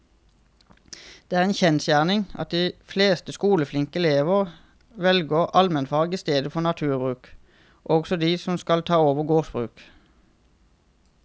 Det er en kjensgjerning at de fleste skoleflinke elevene velger allmennfag i stedet for naturbruk, også de som skal ta over gårdsbruk.